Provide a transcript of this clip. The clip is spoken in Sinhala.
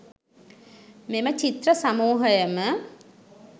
මෙම චිත්‍ර සමූහයම